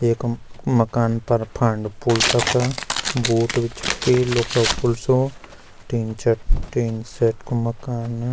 एखम मकान पर फांड फूंड तखा बूट भी छक्के लुखो फुल्सों टीं शेड टिन शेड कु मकान।